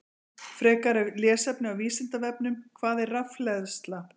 Frekara lesefni á Vísindavefnum: Hvað er rafhleðsla?